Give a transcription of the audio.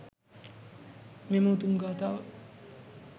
මෙම උතුම් ගාථාව